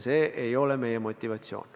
See ei ole meie motivatsioon.